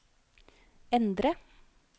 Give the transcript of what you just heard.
endre